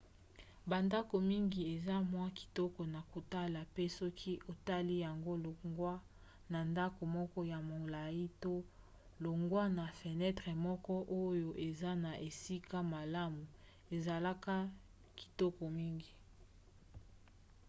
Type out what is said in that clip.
bandako mingi eza mwa kitoko na kotala mpe soki otali yango longwa na ndako moko ya molai to longwa na fenetre moko oyo eza na esika malamu ezalaka kitoko mingi